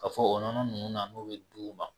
Ka fɔ o nɔnɔ nunnu na n'o bɛ di u ma.